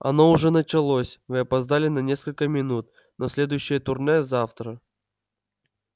оно уже началось вы опоздали на несколько минут но следующее турне завтра